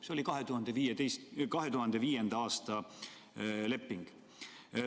See oli 2005. aasta leping.